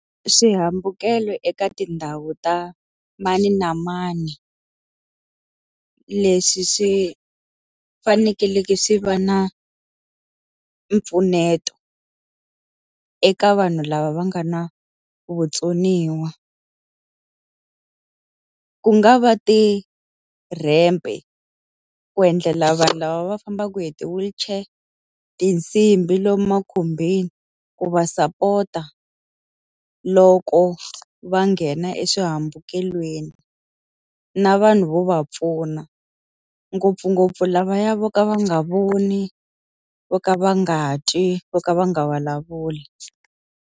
Swihambukelo eka tindhawu ta mani na mani, leswi swi fanekeleke swi va na mpfuneto eka vanhu lava va nga na vutsoniwa. ku nga va ti-ramp-e, ku endlela vanhu lava va fambaka hi ti-wheelchair. Tinsimbhi lomu makhumbini, ku va sapota loko va nghena eswihambukelweni. Na vanhu vo va pfuna, ngopfungopfu lavaya vo ka va nga voni, vo ka va nga twi, vo ka va nga vulavuli.